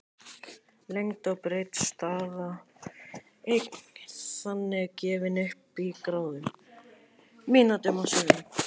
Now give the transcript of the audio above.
Lengd og breidd staða er þannig gefin upp í gráðum, mínútum og sekúndum.